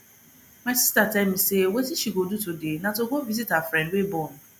my sister tell me say wetin she go do today na to go visit her friend wey born